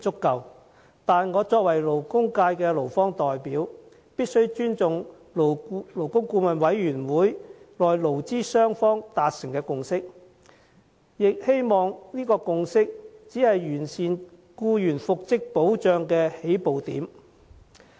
然而，我作為勞工界的代表，必須尊重勞顧會內勞資雙方達成的共識，亦希望以此作為完善僱員復職保障的起步點。